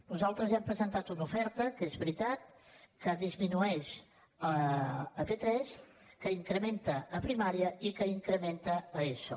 nosaltres hem presentat una oferta que és veritat que disminueix a p3 que s’incrementa a primària i que incrementa a eso